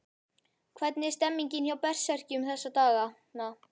Hvernig er stemningin hjá Berserkjum þessa dagana?